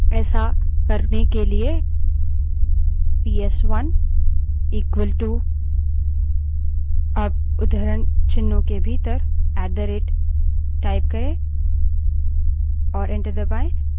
ऐसा करने के लिए पीएसवन बड़े अक्षर में इक्वल –टू अब उद्धरणचिन्हों के भीतर ऐट द rate type करें और enter दबायें